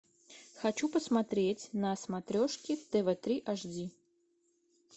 хочу посмотреть на смотрешке тв три аш ди